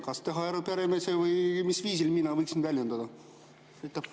Kas teha arupärimine või mis viisil mina võiksin end väljendada?